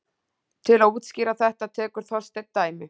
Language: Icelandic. Til að útskýra þetta tekur Þorsteinn dæmi: